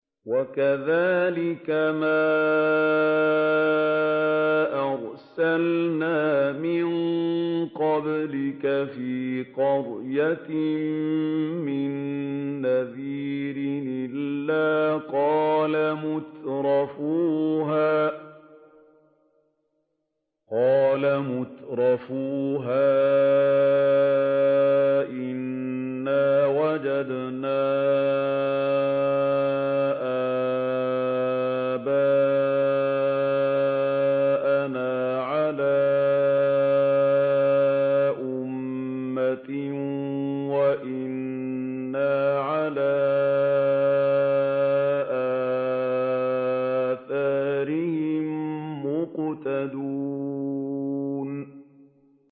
وَكَذَٰلِكَ مَا أَرْسَلْنَا مِن قَبْلِكَ فِي قَرْيَةٍ مِّن نَّذِيرٍ إِلَّا قَالَ مُتْرَفُوهَا إِنَّا وَجَدْنَا آبَاءَنَا عَلَىٰ أُمَّةٍ وَإِنَّا عَلَىٰ آثَارِهِم مُّقْتَدُونَ